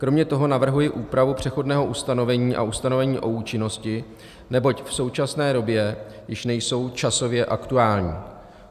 Kromě toho navrhuji úpravu přechodného ustanovení a ustanovení o účinnosti, neboť v současné době již nejsou časově aktuální.